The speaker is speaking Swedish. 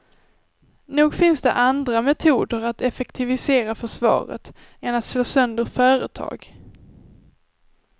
Nog finns det andra metoder att effektivisera försvaret än att slå sönder företag.